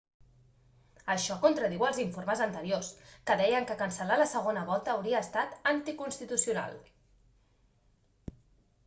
això contradiu els informes anteriors que deien que cancel·lar la segona volta hauria estat anticonstitucional